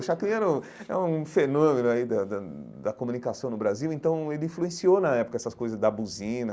O chacrinha era um é um fenômeno aí da da da comunicação no Brasil, então ele influenciou, na época, essas coisas da buzina,